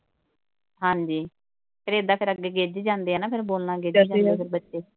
ਹਾਂਜੀ ਫਿਰ ਏਦਾਂ ਕਰਾਂਦੇ ਗਿੱਜ ਜਾਂਦੇ ਆ ਨਾ ਫਿਰ ਬੋਲਣਾ ਗਿੱਜ ਜਾਂਦੇ ਫਿਰ ਬੱਚੇ।